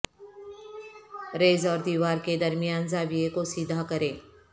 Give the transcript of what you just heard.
raise اور دیوار کے درمیان زاویہ کو سیدھا کریں